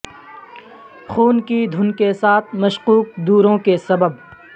خون کی دھن کے ساتھ مشکوک دوروں کے سبب